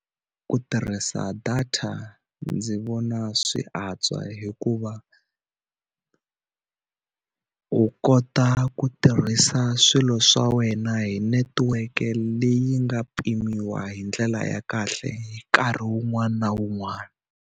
Ku tirhisa data ndzi vona swi antswa hikuva u kota ku tirhisa swilo swa wena hi netiweke leyi nga pimiwa hi ndlela ya kahle nkarhi wun'wana na wun'wana.